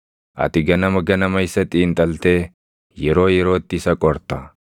Ati ganama ganama isa xiinxaltee yeroo yerootti isa qorta.